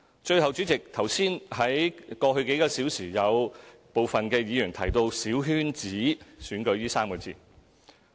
最後，主席，在過去數小時，部分議員提到"小圈子"選舉這3個字。